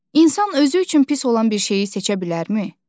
İnsan özü üçün pis olan bir şeyi seçə bilərmi?